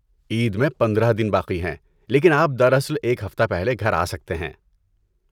عید میں پندرہ دن باقی ہیں لیکن آپ در اصل ایک ہفتہ پہلے گھر آ سکتے ہیں